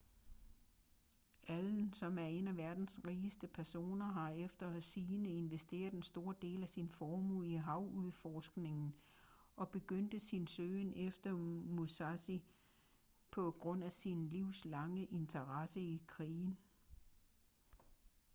allen som er en af verdens rigeste personer har efter sigende investeret en stor del af sin formue i havudforskning og begyndte sin søgen efter musashi på grund af sin livslange interesse i krigen